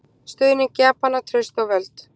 Stuðning Japana, traust og völd.